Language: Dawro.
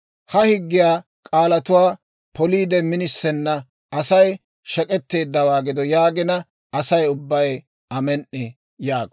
« ‹Ha higgiyaa k'aalatuwaa poliide minisena Asay shek'etteeddawaa gido› yaagina, «Asay ubbay ‹Amen"i!› » yaago.